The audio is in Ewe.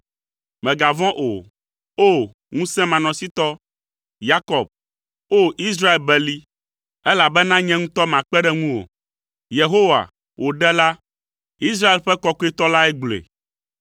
Mègavɔ̃ o. O! Ŋusẽmanɔsitɔ, Yakob, O! Israel beli, elabena nye ŋutɔ makpe ɖe ŋuwò.” Yehowa, wò Ɖela, Israel ƒe Kɔkɔetɔ lae gblɔe.